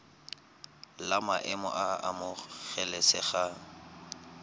la maemo a a amogelesegang